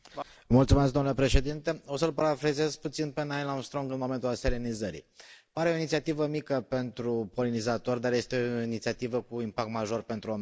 Domnule președinte, o să l parafrazez puțin pe Neil Armstrong în momentul aselenizării pare o inițiativă mică pentru polinizatori, dar este o inițiativă cu impact major pentru omenire.